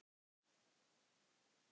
Hefurðu gert það áður?